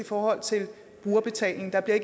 for at tage